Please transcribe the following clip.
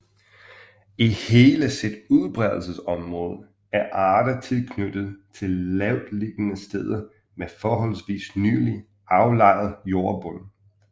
I hele sit udbredelsesområde er arter knyttet til lavtliggende steder med forholdsvis nylig aflejret jordbund